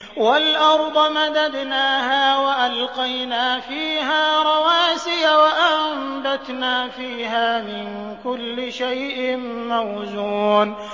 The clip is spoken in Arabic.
وَالْأَرْضَ مَدَدْنَاهَا وَأَلْقَيْنَا فِيهَا رَوَاسِيَ وَأَنبَتْنَا فِيهَا مِن كُلِّ شَيْءٍ مَّوْزُونٍ